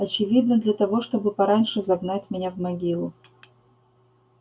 очевидно для того чтобы пораньше загнать меня в могилу